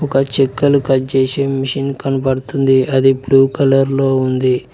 ఒక చెక్కలు కట్ చేసే మిషన్ కనబడుతుంది అది బ్లూ కలర్ లో ఉంది.